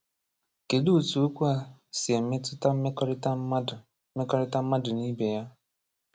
Kedu otu okwu a si metụta mmekorita mmadu mmekorita mmadu na ibe ya?